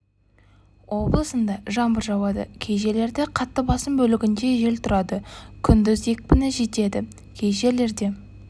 облысында жаңбыр жауады кей жерлерде қатты басым бөлігінде жел тұрады күндіз екпіні жетеді кей жерлерде